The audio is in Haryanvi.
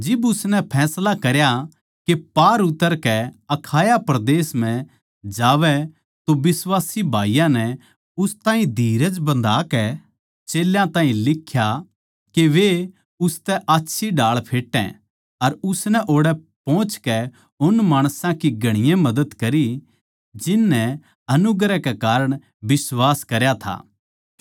जिब उसनै फैसला करया के पार उतरकै अखाया परदेस म्ह जावै तो बिश्वासी भाईयाँ नै उस ताहीं धीरज बन्धाकै चेल्यां ताहीं लिख्या के वे उसतै आच्छी ढाळ फेटै अर उसनै ओड़ै पोहचकै उन माणसां की घणी मदद करी जिन नै अनुग्रह कै कारण बिश्वास करया था